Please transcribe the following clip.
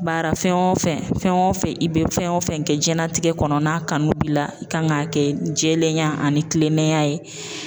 Baara fɛn o fɛn, fɛn o fɛn i bɛ fɛn o fɛn kɛ diɲɛn latigɛ kɔnɔ n'a kanu b'i la, i kan k'a kɛ jɛlenya ani kilennenya ye.